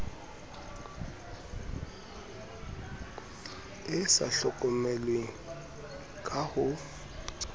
e sa hlokomelweng ka ho